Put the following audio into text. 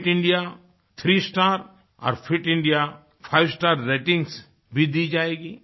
fit India three star और fit India five star ratings भी दी जाएगी